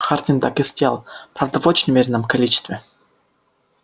хардин так и сделал правда в очень умеренном количестве